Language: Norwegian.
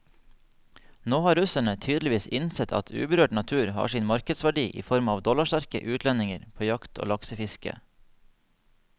Nå har russerne tydeligvis innsett at uberørt natur har sin markedsverdi i form av dollarsterke utlendinger på jakt og laksefiske.